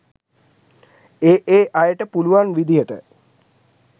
ඒ ඒ අයට පුළුවන් විදියට